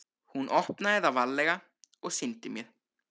Hún opnaði það varlega og sýndi mér.